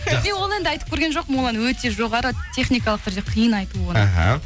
жақсы ол енді айтып көрген жоқпын ол ән өте жоғары техникалық түрде қиын айту оны аха